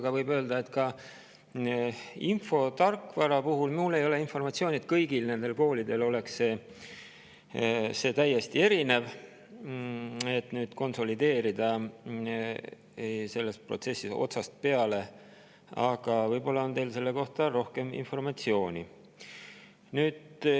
Ja infotarkvara kohta võib öelda, et mul ei ole informatsiooni, et see kõigil nendel koolidel oleks täiesti erinev, et nüüd selles protsessis konsolideerida otsast peale, aga võib-olla on teil selle kohta rohkem informatsiooni.